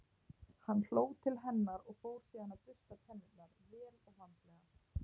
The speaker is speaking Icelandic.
Hann hló til hennar og fór síðan að bursta tennurnar, vel og vandlega.